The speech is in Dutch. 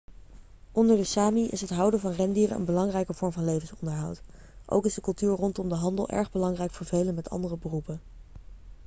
onder de sámi is het houden van rendieren een belangrijke vorm van levensonderhoud. ook is de cultuur rondom de handel erg belangrijk voor velen met andere beroepen